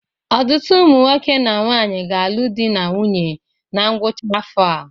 Ọtụtụ ụmụ nwoke na nwaanyị ga-alụ di na nwunye na ngwụcha afọ a.